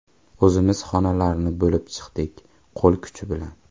O‘zimiz xonalarni bo‘lib chiqdik, qo‘l kuchi bilan.